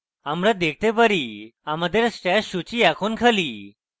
আমরা দেখতে পারি আমাদের stash সূচী এখন খালি